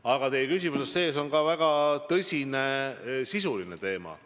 Aga teie küsimuses on ka väga tõsine sisuline teema.